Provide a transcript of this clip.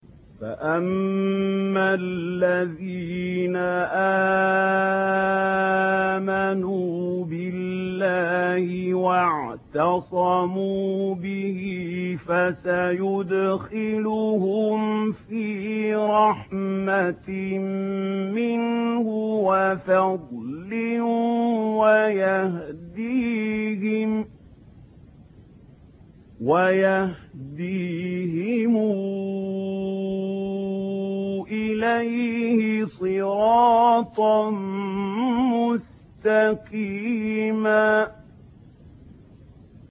فَأَمَّا الَّذِينَ آمَنُوا بِاللَّهِ وَاعْتَصَمُوا بِهِ فَسَيُدْخِلُهُمْ فِي رَحْمَةٍ مِّنْهُ وَفَضْلٍ وَيَهْدِيهِمْ إِلَيْهِ صِرَاطًا مُّسْتَقِيمًا